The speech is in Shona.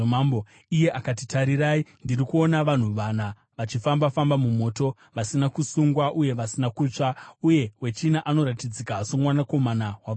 Iye akati, “Tarirai! Ndiri kuona vanhu vana vachifamba-famba mumoto, vasina kusungwa uye vasina kutsva, uye wechina anoratidzika somwanakomana wavamwari.”